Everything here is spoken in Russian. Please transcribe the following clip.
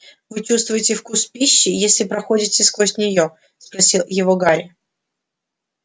вы чувствуете вкус пищи если проходите сквозь неё спросил его гарри